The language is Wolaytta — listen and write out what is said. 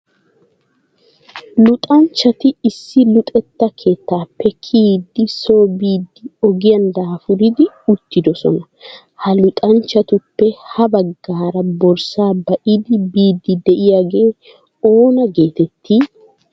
luxanchchati issi luxetta keettappe kiyyidi so biidi ogiyan daafuridi uttidoosona. ha luxanchchatuppe ha baggaara borssa ba'idi biidi diyaagee oona getettii?